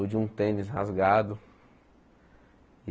ou de um tênis rasgado.